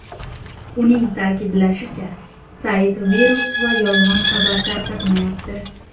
Uning ta’kidlashicha, sayt virus va yolg‘on xabar tarqatmayapti.